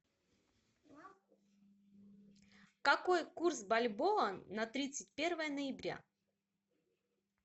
какой курс бальбоа на тридцать первое ноября